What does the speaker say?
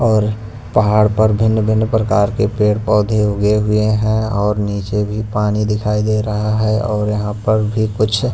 और पहाड़ पर भिन्न भिन्न प्रकार के पेड़ पौधे उगे हुए हैं और नीचे भी पानी दिखाई दे रहा है और यहां पर भी कुछ--